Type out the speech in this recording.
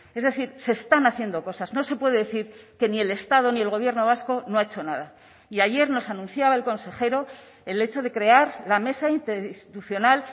es decir se están haciendo cosas no se puede decir que ni el estado ni el gobierno vasco no ha hecho nada y ayer nos anunciaba el consejero el hecho de crear la mesa interinstitucional